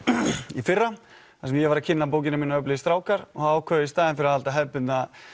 í fyrra þar sem ég var að kynna bókina mína öflugir strákar og þá ákváðum við í staðinn fyrir að halda hefðbundna